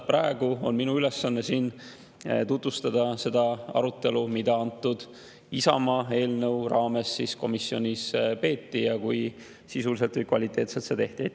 Praegu on minu ülesanne siin tutvustada seda arutelu, mida antud Isamaa eelnõu raames komisjonis peeti, ja seda, kui sisuliselt või kvaliteetselt seda tehti.